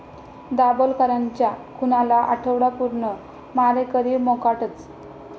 दाभोलकरांच्या खुनाला आठवडा पूर्ण, मारेकरी मोकाटच